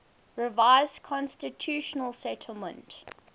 revised constitutional settlement